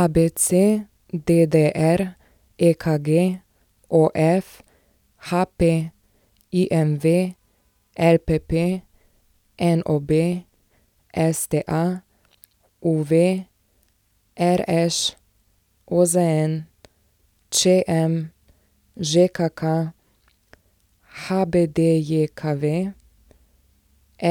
ABC, DDR, EKG, OF, HP, IMV, LPP, NOB, STA, UV, RŠ, OZN, ČM, ŽKK, HBDJKV,